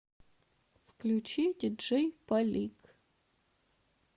включи диджей полик